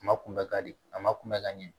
A ma kunbɛ ka di a ma kunbɛn ka ɲɛ